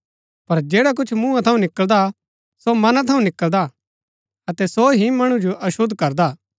पर जैडा कुछ मूँहा थऊँ निकळदा सो मना थऊँ निकळदा अतै सो ही मणु जो अशुद्ध करदा हा